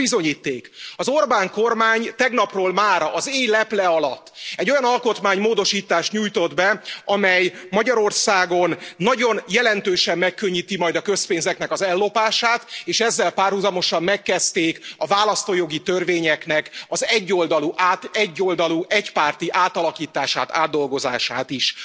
Íme a bizonyíték az Orbán kormány tegnapról mára az éj leple alatt egy olyan alkotmánymódosítást nyújtott be, amely Magyarországon nagyon jelentősen megkönnyíti majd a közpénzeknek az ellopását, és ezzel párhuzamosan megkezdték a választójogi törvényeknek az egyoldalú egypárti átalakítását, átdolgozását is.